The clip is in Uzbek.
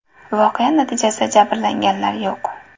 Voqea natijasida jabrlanganlar yo‘q.